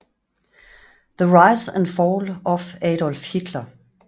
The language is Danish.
The Rise and Fall of Adolf Hitler